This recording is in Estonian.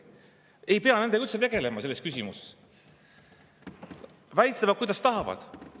Ei pea nendega üldse tegelema selles küsimuses, nad väitlevad, kuidas tahavad.